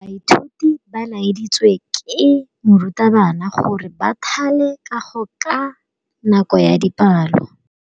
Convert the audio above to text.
Baithuti ba laeditswe ke morutabana gore ba thale kagô ka nako ya dipalô.